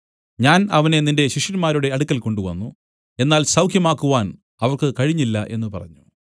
ഞാൻ അവനെ നിന്റെ ശിഷ്യന്മാരുടെ അടുക്കൽ കൊണ്ടുവന്നു എന്നാൽ സൌഖ്യമാക്കുവാൻ അവർക്ക് കഴിഞ്ഞില്ല എന്നു പറഞ്ഞു